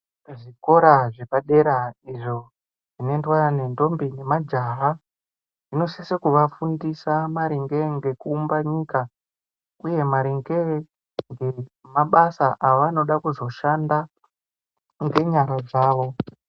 Zvikora zvepadera izvo zvinondwa ngendombi nemajaha zvinosise kuvafundisa maringe nekuumba nyika uye maringe nemabasa avanida kuzoshanda ngenyara dzavo.